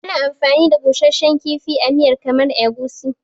Ana amfani da busasshen kifi a miyar kamar Egusi.